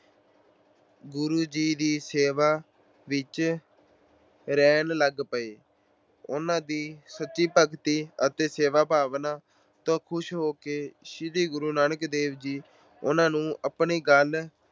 ਗੁਰੂ ਜੀ ਦੀ ਸੇਵਾ ਵਿੱਚ ਰਹਿਣ ਲੱਗ ਪਏ। ਉਹਨਾਂ ਦੀ ਸੱਚੀ ਭਗਤੀ ਅਤੇ ਸੇਵਾ ਭਾਵਨਾ ਤੋਂ ਖੁਸ਼ ਹੋ ਕੇ ਸ਼੍ਰੀ ਗੁਰੂ ਨਾਨਕ ਦੇਵ ਜੀ ਨੇ ਉਹਨਾਂ ਨੂੰ ਆਪਣੇ ਗਲ